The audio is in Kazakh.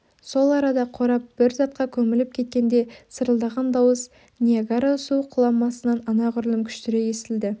сол арада қорап бір затқа көміліп кеткенде сарылдаған дауыс ниагара су құламасынан анағұрлым күштірек естілді